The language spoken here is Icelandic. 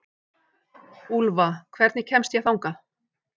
Úlfa, hvernig kemst ég þangað?